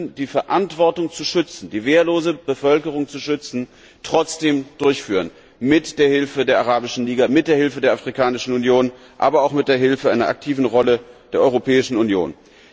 Wir müssen die Verantwortung, die wehrlose Bevölkerung zu schützen, trotzdem übernehmen, mit Hilfe der Arabischen Liga, mit Hilfe der Afrikanischen Union, aber auch mit Hilfe einer aktiven Rolle der Europäischen Union.